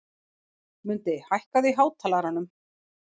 Mundi, hækkaðu í hátalaranum.